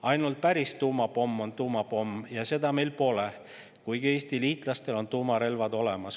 Ainult päris tuumapomm on tuumapomm ja seda meil pole, kuigi Eesti liitlastel on tuumarelvad olemas.